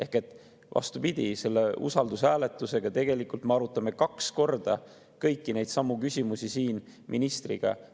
Nii et vastupidi, selle usaldushääletusega tegelikult me arutame kaks korda kõiki neidsamu küsimusi siin ministriga.